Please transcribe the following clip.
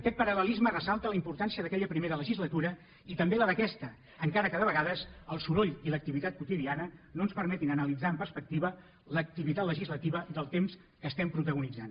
aquest paral·lelisme fa ressaltar la importància d’aquella primera legislatura i també la d’aquesta encara que de vegades el soroll i l’activitat quotidiana no ens permetin analitzar amb perspectiva l’activitat legislativa del temps que estem protagonitzant